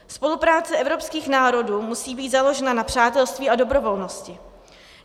Spolupráce evropských národů musí být založena na přátelství a dobrovolnosti.